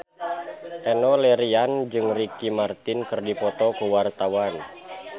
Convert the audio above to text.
Enno Lerian jeung Ricky Martin keur dipoto ku wartawan